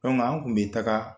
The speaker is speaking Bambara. an kun be taga